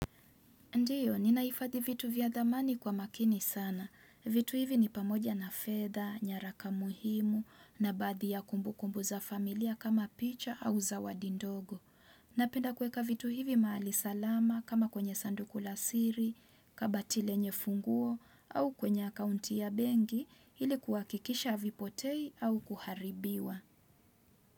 Ndiyo, ninahifadhi vitu vya dhamani kwa makini sana. Vitu hivi ni pamoja na fedha, nyaraka muhimu, na baadhi ya kumbukumbu za familia kama picha au zawadi ndogo. Napenda kueka vitu hivi mahali salama kama kwenye sanduku la siri, kabati lenye funguo, au kwenye akaunti ya bengi ili kuhakikisha havipotei au kuharibiwa.